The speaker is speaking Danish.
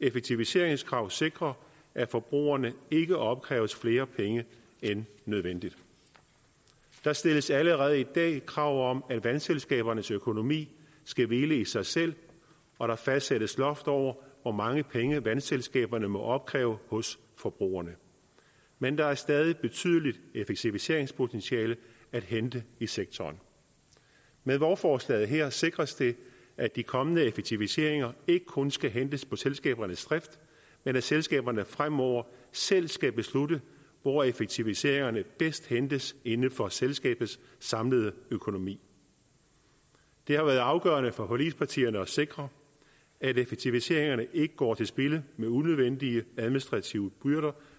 effektiviseringskrav sikrer at forbrugerne ikke opkræves flere penge end nødvendigt der stilles allerede i dag krav om at vandselskabernes økonomi skal hvile i sig selv og der fastsættes loft over hvor mange penge vandselskaberne må opkræve hos forbrugerne men der er stadig et betydeligt effektiviseringspotentiale at hente i sektoren med lovforslaget her sikres det at de kommende effektiviseringer ikke kun skal hentes på selskabernes drift men at selskaberne fremover selv skal beslutte hvor effektiviseringerne bedst hentes inden for selskabernes samlede økonomi det har været afgørende for forligspartierne at sikre at effektiviseringerne ikke går til spilde med unødvendige administrative byrder